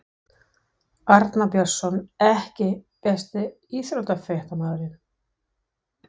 Arnar BJörnsson EKKI besti íþróttafréttamaðurinn?